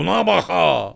Buna bax ha!